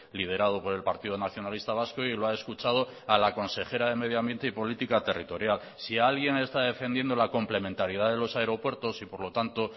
liderado por el partido nacionalista vasco y lo ha escuchado a la consejera de medio ambiente y política territorial si alguien está defendiendo la complementariedad de los aeropuertos y por lo tanto